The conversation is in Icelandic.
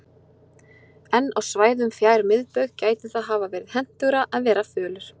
En á svæðum fjær miðbaug gæti það hafa verið hentugra að vera fölur.